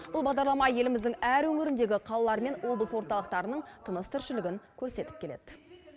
бұл бағдарлама еліміздің әр өңіріндегі қалалар мен облыс орталықтарының тыныс тіршілігн көрсетіп келеді